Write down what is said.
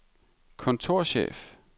kontorchef